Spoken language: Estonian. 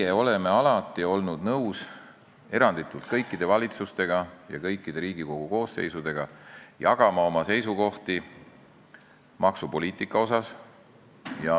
Meie oleme alati olnud nõus eranditult kõikidele valitsustele ja kõikidele Riigikogu koosseisudele jagama oma seisukohti maksupoliitika kohta.